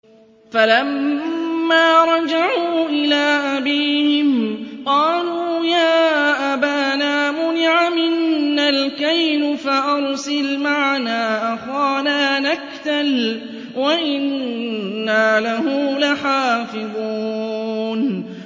فَلَمَّا رَجَعُوا إِلَىٰ أَبِيهِمْ قَالُوا يَا أَبَانَا مُنِعَ مِنَّا الْكَيْلُ فَأَرْسِلْ مَعَنَا أَخَانَا نَكْتَلْ وَإِنَّا لَهُ لَحَافِظُونَ